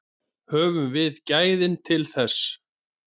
Höfum við gæðin til þess?